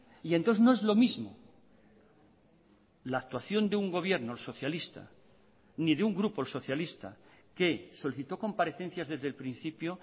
y entonces no es lo mismo la actuación de un gobierno socialista ni de un grupo el socialista que solicitó comparecencias desde el principio